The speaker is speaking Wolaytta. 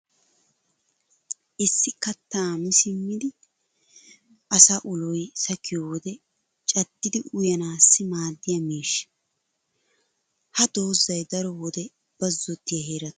issi kattaa mi simmidi asaa ulloy sakkiyo wode caddidi uyyanaassi maadiya miishsha. ha dozzay daro wode bazzottiya heeratun keehi daruwa mokkees.